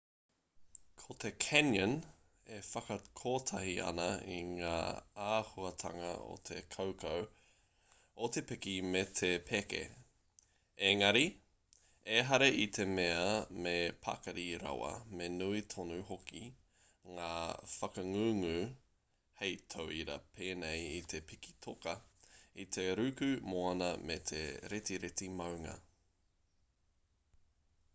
ko te canyon e whakakotahi ana i ngā āhuatanga o te kaukau o te piki me te peke -- ēngari ehara i te mea me pakari rawa me nui tonu hoki ngā whakangungu hei tauira pēnei i te piki toka i te ruku moana me te retireti maunga